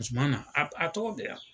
Zumana a a tɔgɔ bɛ yan